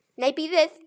Nei, bíðið.